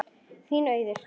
Þín, Auður.